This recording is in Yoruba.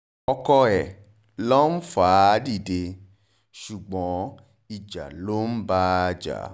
ọkọ ẹ̀ ló ń fà á dìde ṣùgbọ́n ìjà ló ń bá a jà